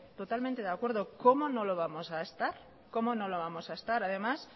cómo no lo vamos a estar además